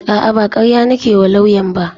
A'a ba karya nake wa lauyan ba